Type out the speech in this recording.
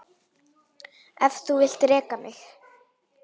Ef þú vilt reka mig?